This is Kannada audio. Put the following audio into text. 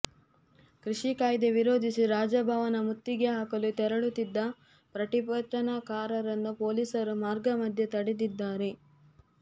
ಕೃಷಿ ಕಾಯ್ದೆ ವಿರೋಧಿಸಿ ರಾಜಭವನ ಮುತ್ತಿಗೆ ಹಾಕಲು ತೆರಳುತ್ತಿದ್ದ ಪ್ರತಿಭಟನಾಕಾರರನ್ನು ಪೊಲೀಸರು ಮಾರ್ಗ ಮಧ್ಯೆ ತಡೆದಿದ್ದಾರೆ